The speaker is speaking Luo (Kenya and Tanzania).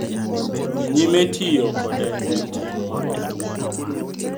Dhi nyime tiyo kode en tim ma ok ber.